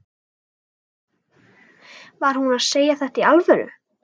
Var hún að segja þetta í alvöru?